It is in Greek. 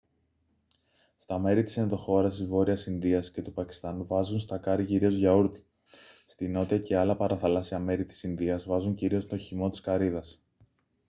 στα μέρη της ενδοχώρας της βόρειας ινδίας και του πακιστάν βάζουν στα κάρυ κυρίως γιαούρτι στη νότια και άλλα παραθαλάσσια μέρη της ινδίας βάζουν κυρίως τον χυμό της καρύδας